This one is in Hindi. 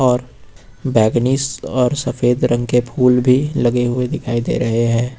और बैगनीज और सफेद रंग के फूल भी लगे हुए दिखाई दे रहे है।